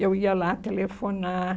Eu ia lá telefonar.